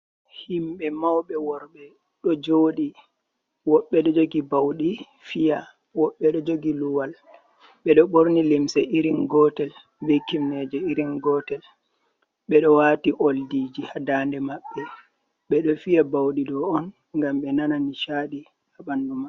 Himɓe mauɓe worɓe ɗo jooɗi, woɓɓe ɗo jogi bauɗi fiya, woɓɓe ɗo jogi luwal. Ɓe ɗo ɓorni limse irin gotel be kimneje irin gotel. Ɓe ɗo waati oldiji ha dande maɓɓe, ɓe ɗo fiya bauɗi ɗo on ngam ɓe nana nishaaɗi ha ɓandu maɓɓe.